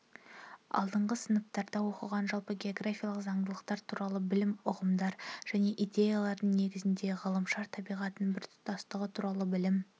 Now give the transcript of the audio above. алдыңғы сыныптарда оқылған жалпы географиялық заңдылықтар туралы білім ұғымдар және идеялардың негізінде ғаламшар табиғатының біртұтастығы туралы білім